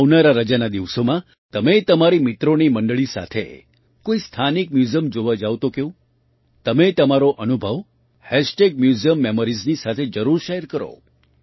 આવનારા રજાના દિવસોમાં તમે તમારી મિત્રોની મંડળી સાથે કોઈ સ્થાનિક મ્યૂઝિયમ જોવા જાવ તો કેવું તમે તમારો અનુભવ મ્યુઝિયમમોરીઝ ની સાથે જરૂર શૅર કરો